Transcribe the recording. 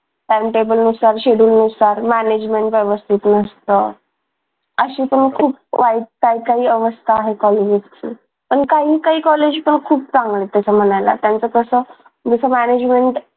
timetable नुसार schedule नुसार management व्यवस्थित नसतं अशी पण खूप वाईट काही काही अवस्था आहे कॉलेजेसची पण काही काही कॉलेज तर खूप चांगले आहे तसं म्हणायला त्यांचं कसं जस management